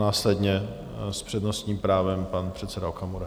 Následně s přednostním právem pan předseda Okamura.